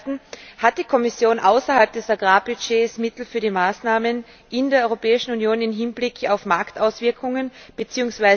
Zum Ersten Hat die Kommission außerhalb des Agrarbudgets Mittel für die Maßnahmen in der Europäischen Union im Hinblick auf Marktauswirkungen bzw.